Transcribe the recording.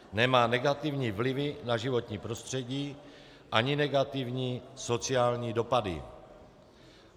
Nemá negativní vliv na životní prostředí ani negativní sociální dopady.